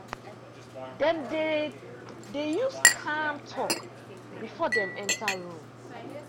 dem dey dey use calm talk before dem enter room.